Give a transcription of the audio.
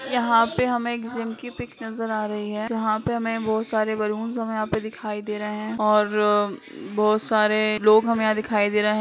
यहाँ पे हमें एक जिम की पिक नजर आ रही है जहां पे हमें बहोत सारे बैलून्स हमें यहाँ पे दिखाई दे रहे है और बहुत सारे लोग हमें यहाँ दिखाई दे रहे हैं।